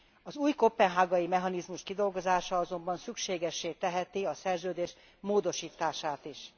Az új koppenhágai mechanizmus kidolgozása azonban szükségessé teheti a szerződés módosítását is.